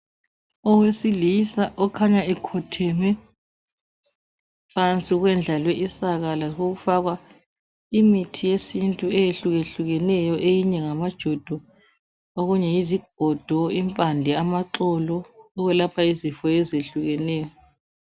Owesilisa okhanya ekhotheme phansi kwendlalwe isaka, kwasekufakwa imithi yesintu eyehlukehlukeneyo eyinye ngamajodo, okunye yizigodo, impande ,amaxolo okwelapha izifo ezehlukeneyo.